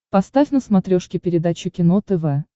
поставь на смотрешке передачу кино тв